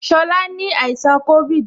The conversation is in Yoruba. Shola ni àìsàn covid